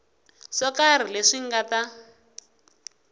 swo karhi leswi nga ta